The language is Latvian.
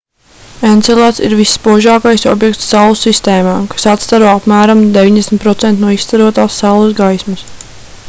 encelads ir visspožākais objekts saules sistēmā kas atstaro apmēram 90% no izstarotās saules gaismas